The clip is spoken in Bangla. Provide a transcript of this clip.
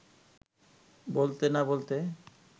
বলতে না-বলতে